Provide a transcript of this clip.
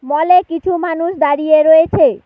মলে কিছু মানুষ দাঁড়িয়ে রয়েছে।